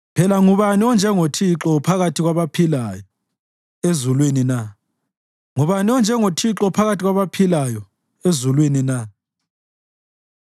Phela ngubani onjengoThixo phakathi kwabaphilayo ezulwini na? Ngubani onjengoThixo phakathi kwabaphilayo ezulwini na?